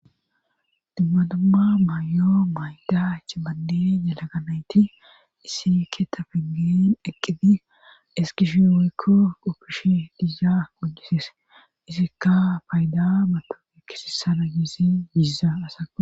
Dumma dumma maay'oo maydach bande yalaganayti isike ta piggen eqqidi eskishi woykko oppishi diha mojisise isikka payda mato ekkisissala giisi gizza asaqu